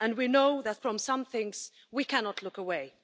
and we know that from some things, we cannot look away.